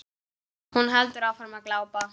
Hún heldur áfram að glápa.